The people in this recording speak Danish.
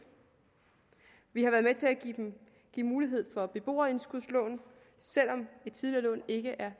vi har været med til at give mulighed for beboerindskudslån selv om et tidligere lån ikke er